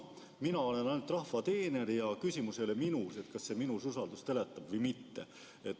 Mina olen ainult rahva teener ja küsimus ei ole minus, et kas see minus usaldust äratab või mitte.